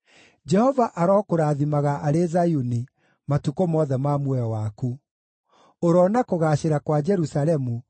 Jehova arokũrathimaga arĩ Zayuni matukũ mothe ma muoyo waku; ũroona kũgaacĩra kwa Jerusalemu,